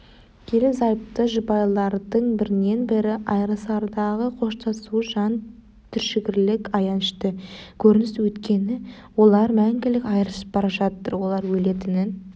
ерлі-зайыпты жұбайлардың бірінен бірі айрылысардағы қоштасуы жан түршігерлік аянышты көрініс өйткені олар мәңгілік айрылысып бара жатыр олар өлетінін